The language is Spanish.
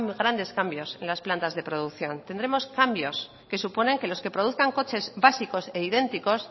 grandes cambios en las plantas de producción tendremos cambios que suponen que los que produzcan coches básicos e idénticos